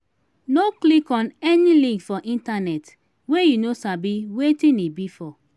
no click on any link for internet wey you no sabi wetin e be for.